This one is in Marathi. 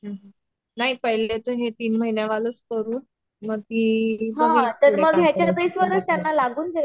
नाही पहले तर हे तीन महिन्यांवालच करू मग